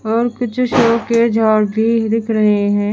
और कुछ शो के भीं दिख रहें हैं।